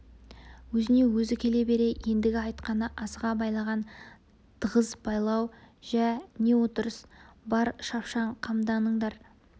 өзіне өзі келе бере ендігі айтқаны асыға байлаған тығыз байлау жә не отырыс бар шапшаң қамданыңдар